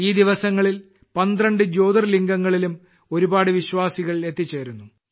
ഈ ദിവസങ്ങളിൽ 12 ജ്യോതിർലിംഗങ്ങളിലും ഒരുപാട് വിശ്വാസികൾ എത്തിച്ചേരുന്നു